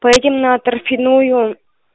поедем на торфяную